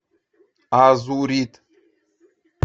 азурит